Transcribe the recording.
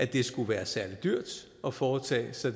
det skulle være særlig dyrt at foretage